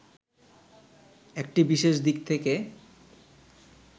একটি বিশেষ দিক থেকে